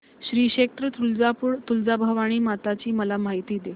श्री क्षेत्र तुळजापूर तुळजाभवानी माता ची मला माहिती दे